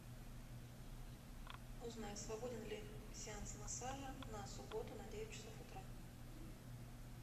узнай свободен ли сеанс массажа на субботу на девять часов утра